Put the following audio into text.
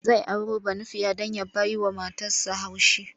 Zai auro Banufiya don ya bawa matarsa haushi.